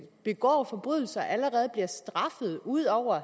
begår forbrydelser allerede bliver straffet ud over at